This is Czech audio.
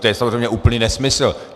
to je samozřejmě úplný nesmysl.